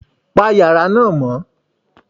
Pa yàrá náà mọ́.